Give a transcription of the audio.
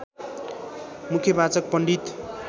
मुख्यवाचक पण्डित